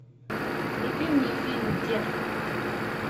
вруби мне фильм детка